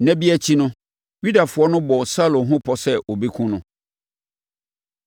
Nna bi akyi no, Yudafoɔ no bɔɔ Saulo ho pɔ sɛ wɔbɛkum no,